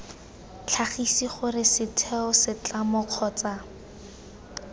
tlhagise gore setheo setlamo kgotsa